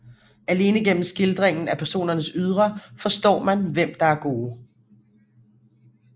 Alene gennem skildringen af personernes ydre forstår man hvem der er gode